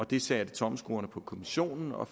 det satte tommelskruerne på kommissionen og